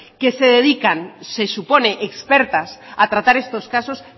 que se dedican se supone expertas a tratar estos casos